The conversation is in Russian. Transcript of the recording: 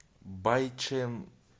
байчэн